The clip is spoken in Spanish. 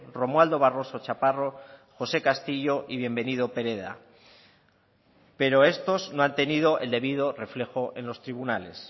romualdo barroso chaparro josé castillo y bienvenido pereda pero estos no han tenido el debido reflejo en los tribunales